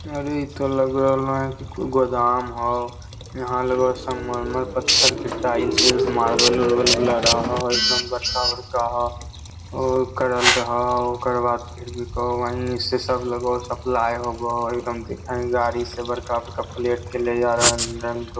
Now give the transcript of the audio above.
अरे इ तो लग रहल हो गोदाम हो यहाँ लगा हो संगमर्मर पत्थर के टाइल्स - उईलस मार्बल - उरबल लगल हो एकदम बड़का-बड़का हो उ कराल रहल हो ओकरा बाद फिर भी कहो वहीँ से सब लगो हो सप्लाई होबो हो एकदम देखीं है गाड़ी से बड़का-बड़का प्लेट के ले जा रहल हो।